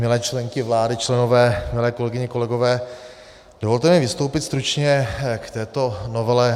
Milé členky vlády, členové, milé kolegyně, kolegové, dovolte mi vystoupit stručně k této novele.